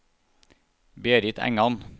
Berit Engan